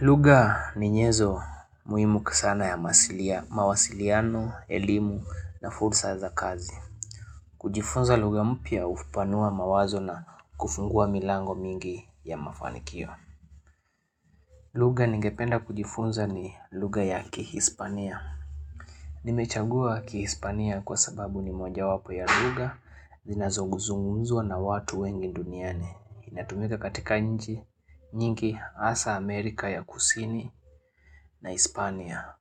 Lugha ni nyezo muhimu sana ya mawasiliano, elimu na fursa za kazi. Kujifunza lugha mpya upanua mawazo na kufungua milango mingi ya mafanikio. Lugha ningependa kujifunza ni lugha ya kihispania. Nimechagua kihispania kwa sababu ni mojawapo ya lugha zinazozungumzwa na watu wengi duniani. Inatumika katika nchi nyingi, hasa Amerika ya Kusini na Hispania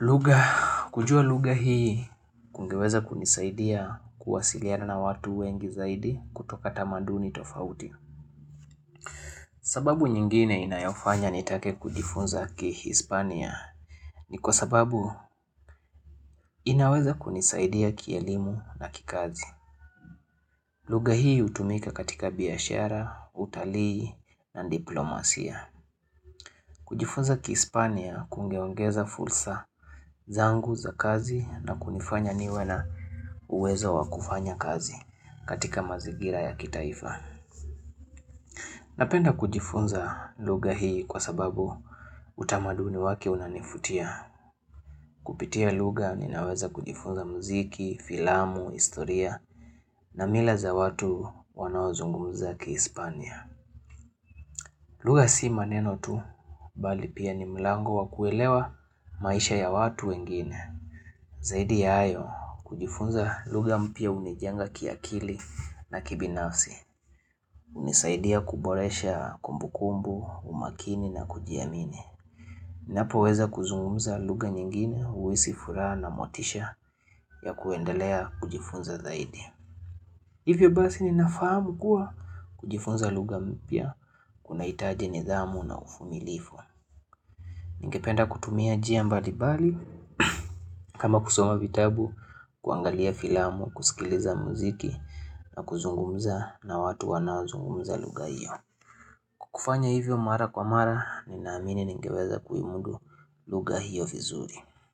lugha, kujua lugha hii kungeweza kunisaidia kuwasiliana na watu wengi zaidi kutoka tamaduni tofauti sababu nyingine inayofanya nitake kujifunza Kihispania ni kwa sababu inaweza kunisaidia kielimu na kikazi lugha hii hutumika katika biashara, utalii na diplomasia kujifunza kispania kungeongeza fursa zangu za kazi na kunifanya niwe na uwezo wakufanya kazi katika mazingira ya kitaifa. Napenda kujifunza lugha hii kwa sababu utamaduni wake unanivutia. Kupitia lugha ninaweza kujifunza muziki, filamu, historia na mila za watu wanaozungumza kihispania. Lugha si maneno tu, bali pia ni mlango wa kuelewa maisha ya watu wengine. Zaidi ya hayo, kujifunza lugha mpya hunijenga kiakili na kibinafsi. Hunisaidia kuboresha kumbukumbu, umakini na kujiamini. Napoweza kuzungumza lugha nyingine, uhisi furaha na motisha ya kuendelea kujifunza zaidi. Hivyo basi ninafahamu kuwa kujifunza lugha mpya kunahitaji nidhamu na uvumilifu. Ningependa kutumia njia mbalimbali, kama kusoma vitabu, kuangalia filamu, kusikiliza muziki na kuzungumza na watu wanaozungumza lugha hiyo. Kufanya hivyo mara kwa mara, ninaamini ningeweza kuimudu lugha hiyo vizuri.